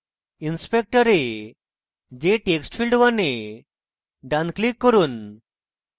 inspector এ jtextfield1 এ ডান click করুন